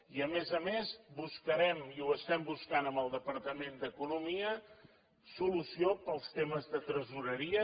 i a més a més buscarem i ho estem buscant amb el departament d’economia solució per als temes de tresoreria